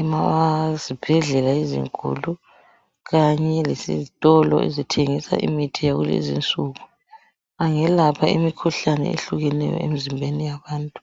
ezibhedlela ezinkulu, kanye lesitolo ezithengisa imithi yakuzi insuku. Angelapha imikhuhlane etshiyeneyo emzimbeni yabantu.